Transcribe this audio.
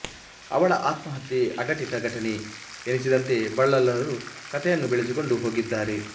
ಅವಳ ಆತ್ಮಹತ್ಯೆ ಅಘಟಿತ ಘಟನೆ ಎನಿಸದಂತೆಬಲ್ಲಾಳರು ಕಥೆಯನ್ನು ಬೆಳೆಸಿಕೊಂಡು ಹೋಗಿದ್ದಾರೆ